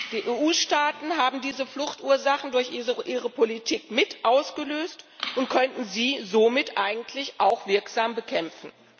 Die EU Staaten haben diese Fluchtursachen durch ihre Politik mit ausgelöst und könnten sie somit eigentlich auch wirksam bekämpfen.